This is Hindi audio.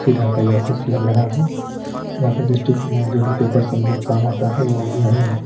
का ये ऑफिस लग रहा है। यहाँ पे डिस्ट्रिक में जो भी पेपर सबमिट काम आता है वो यहीं होते --